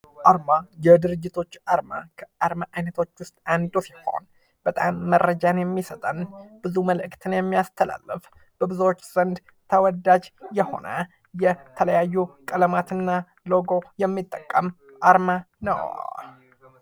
አርማ፦ የድርጅቶች አርማ ከአርማ አይነቶች ውስጥ አንዱ ሲሆን በጣም መረጃን የሚሰጠን ብዙ መልእክትን የሚያስተላልፍ በብዙዎች ዘንድ ተወዳጅ የሆነ የተለያዩ ቀለማት እና ሎጎ የሚጠቀም አርማ ነው።